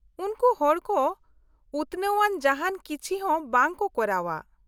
-ᱩᱱᱠᱩ ᱦᱚᱲ ᱠᱚ ᱩᱛᱱᱟᱹᱣ ᱟᱱ ᱡᱟᱦᱟᱱ ᱠᱤᱪᱷᱤ ᱦᱚᱸ ᱵᱟᱝ ᱠᱚ ᱠᱚᱨᱟᱣᱼᱟ ᱾